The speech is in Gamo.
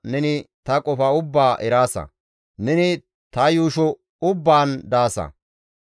Neni ta yuusho ubbaan daasa; ne kushezan tana naagaasa.